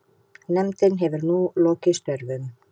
Nefndin hefur nú lokið störfum.